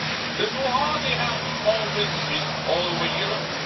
This will hardly help small businesses all over Europe.